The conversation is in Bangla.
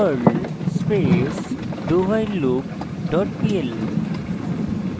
লিখুন perl space dowhileloop dot pl